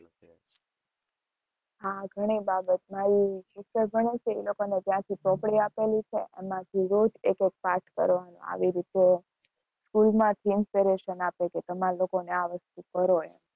હા, ઘણી બાબતમાં ઈ વિષય ભણે છે, ઈ લોકોને ત્યાંથી ચોપડી આપેલી છે, એમાંથી રોજ એક-એક પાઠ કરવાનો આવી રીતે school માંથી inspiration આપે છે, તમારે લોકોને આ વસ્તુ કરો એમ